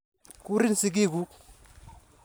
Kurin sigik kuk.